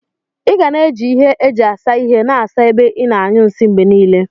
Iga na eji ihe eji asa ihe na asa ebe ina anyụ nsi mgbenile.